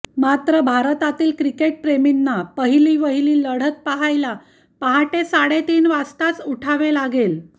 मात्र भारतातील क्रिकेटप्रेमींनी पहिलीवहिली लढत पाहायला पहाटे साडेतीन वाजताच उठावे लागेल